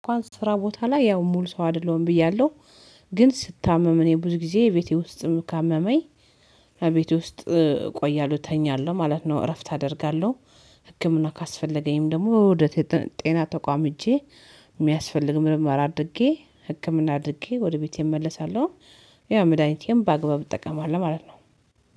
እንኳን ስራ ቦታ ላይ ያው ሙሉ ሰው አይደለሁም ብያለሁ። ግን ስታመም እኔ ብዙ ጊዜ ቤቴ ውስጥ ካመመኝ አቤቴ ውስጥ ቆያለሁ ተኛለሁ ማለት ነው። እረፍት አደርጋለሁ። ህክምና ካስፈለገኝም ደግሞ ወደ ጤና ተቋም እጄ የሚያስፈልግ ምርምር አድርጌ ህክምና አድርጌ ወደ ቤቴ እመለሳለሁ። ያው መድኃኒቴም በአግባብ እጠቀማለሁ ማለት ነው።